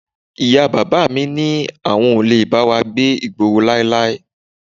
Ìyá bàbá mi ní àwọn ò lè bá wa gbé ìgboro láíláí